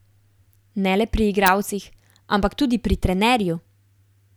Ne le pri igralcih, ampak tudi pri trenerju.